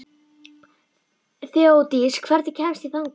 Þeódís, hvernig kemst ég þangað?